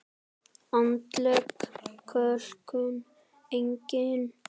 Andleg kölkun: engin.